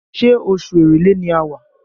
Ṣé oṣù Èrèlé ni a wà?